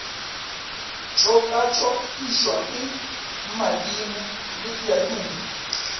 tšokatšokišwa ke madimo le diaduma